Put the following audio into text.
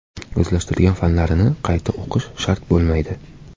O‘zlashtirgan fanlarini qayta o‘qishi shart bo‘lmaydi.